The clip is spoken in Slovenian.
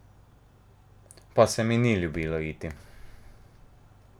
Pa se mi ni ljubilo iti ...